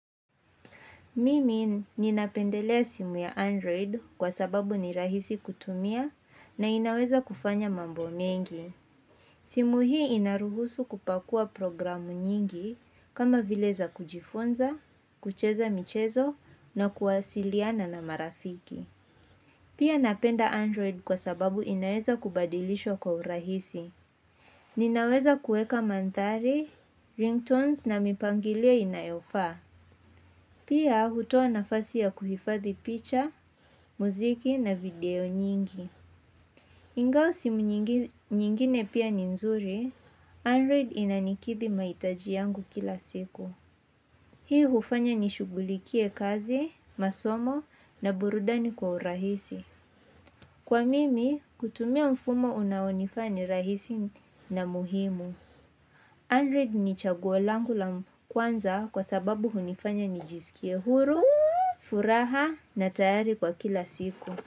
Mimi ninapendelea simu ya Android kwa sababu ni rahisi kutumia na inaweza kufanya mambo mengi. Simu hii inaruhusu kupakua programu nyingi kama vile za kujifunza, kucheza michezo na kuwasiliana na marafiki. Pia napenda Android kwa sababu inaweza kubadilishwa kwa urahisi. Ninaweza kuweka mandhari, ringtones na mipangilio inayofaa. Pia hutoa nafasi ya kuhifadhi picha, muziki na video nyingi. Ingawa simu nyingine pia ni nzuri, Android inanikidhi mahitaji yangu kila siku. Hii hufanya nishughulikie kazi, masomo na burudani kwa urahisi. Kwa mimi, kutumia mfumo unaonifaa ni rahisi na muhimu. Android ni chaguo langu la kwanza kwa sababu hunifanya nijisikie huru, furaha na tayari kwa kila siku.